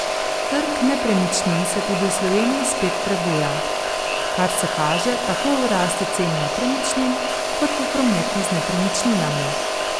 Trg nepremičnin se tudi v Sloveniji spet prebuja, kar se kaže tako v rasti cen nepremičnin kot v prometu z nepremičninami.